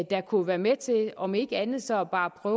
der kunne være med til om ikke andet så bare at